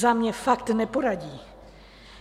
Za mě fakt neporadí.